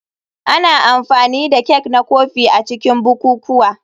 Ana amfani da kek na kofi a cikin bukukuwa.